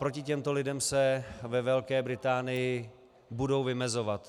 Proti těmto lidem se ve Velké Británii budou vymezovat.